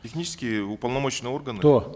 технически уполномоченные органы кто